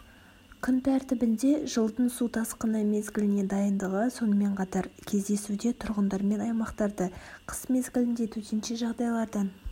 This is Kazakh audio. күн тәртібінде жылдың су тасқыны мезгіліне дайындығы сонымен қатар кезесуде тұрғындармен аймақтарды қыс мезгілінде төтенше жағдайлардан